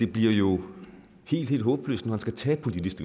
bliver helt helt håbløst når han skal tage politisk